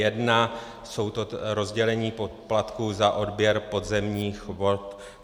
Jsou to rozdělení poplatků za odběr podzemních vod.